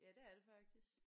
Ja det er det faktisk